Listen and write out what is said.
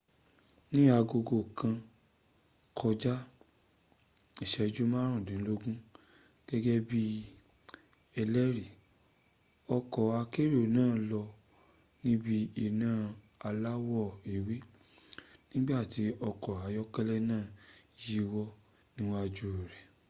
ni aago kàn kojá ìséjú márùndínlógún gégé bi ẹlẹri ọkò akérò náà lọ níbi iná aláwọ ewé nígbàtí ọkọ̀ ayọ́kélẹ´ náà yíwọ́ níwájú rẹ̀